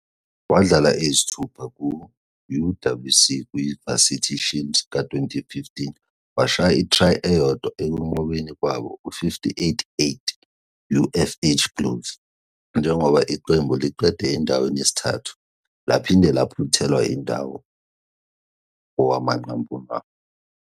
Wadlala eyisithupha ku-UWC kwiVarsity Shield ka -2015, washaya i-try eyodwa ekunqobeni kwabo u-58-8 UFH Blues njengoba iqembu liqede endaweni yesithathu, laphinde laphuthelwa indawo kowamanqamu.